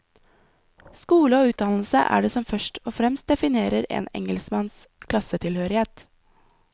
Skole og utdannelse er det som først og fremst definerer en engelskmanns klassetilhørighet.